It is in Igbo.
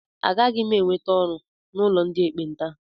Agaghị m enweta ọrụ n'ụlọ ndị ekpenta.